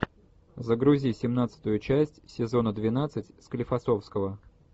загрузи семнадцатую часть сезона двенадцать склифосовского